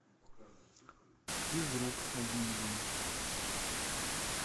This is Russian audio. физрук с нагиевым